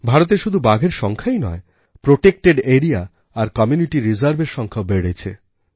ভারতে শুধু বাঘের সংখ্যাই নয়প্রটেক্টেড এরিয়া আর কমিউনিটি রিজার্ভএর সংখ্যাও বেড়েছে